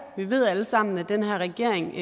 vi ved alle sammen at den her regering